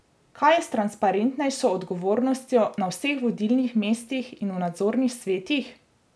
Kaj je s transparentnejšo odgovornostjo na vseh vodilnih mestih in v nadzornih svetih?